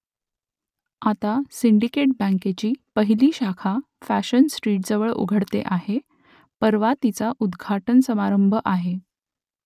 आता सिंडिकेट बँकेची पहिली शाखा फॅशन स्ट्रीटजवळ उघडते आहे , परवा तिचा उद्घाटन समारंभ आहे